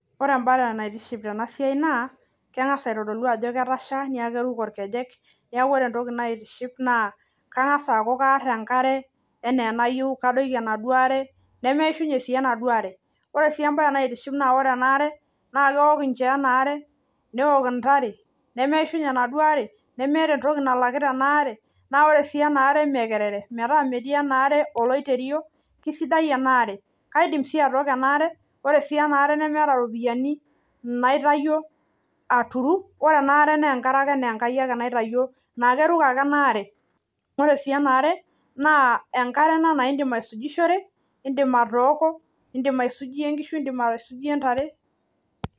Ore embare naitiship tena siai naa keng'as aitodolu ajo ketasha niaku keruko irkejek niaku ore entoki naitiship naa kang'as aaku karr enkare enaa enayieu kadoiki enaduo are nemeishunye sii enaduo are ore sii embaye naa ore ena are naa keok inchoo ena are neok intare nemeishunye enaduo are nemeeta entoki nalakita ena are naa ore sii ena are imee kerere metaa metii ena are oloiterio kisidai ena are kaidim sii atooko ena are ore sii ena aare nemeeta iropiyiani naitayio aturu ore ena are naa enkare ake naa Enkai ake naitayio naa keruko ake ena are naa enkare naiindim aisujishore indim atooko indim aisujie inkishu indim aisujie intare.